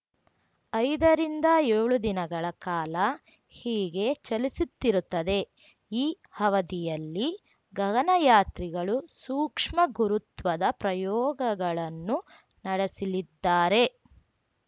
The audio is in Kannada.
ಐದರಿಂದ ಯೋಳು ದಿನಗಳ ಕಾಲ ಹೀಗೇ ಚಲಿಸುತ್ತಿರುತ್ತದೆ ಈ ಅವಧಿಯಲ್ಲಿ ಗಗನಯಾತ್ರಿಗಳು ಸೂಕ್ಷ್ಮ ಗುರುತ್ವದ ಪ್ರಯೋಗಗಳನ್ನು ನಡೆಸಲಿದ್ದಾರೆ